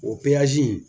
O